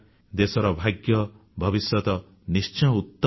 ଦେଶର ଭାଗ୍ୟ ଭବିଷ୍ୟତ ନିଶ୍ଚୟ ଉତ୍ତମ ହେବ